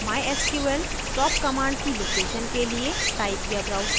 mysql stop command की location के लिए type या browse करें